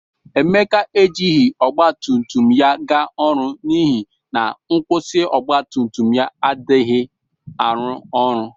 Emeka e jighi ọgbatumtum ya ga ọrụ n'ihi na nkwusi ọgbatumtum ya adaghi arụ ọrụ